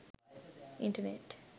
internet